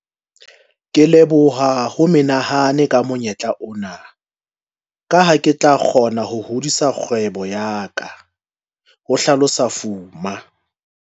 "Ke leboha ho menehane ka monyetla ona, ka ha ke tla kgona ho hodisa kgwebo ya ka," ho hlalosa Fuma.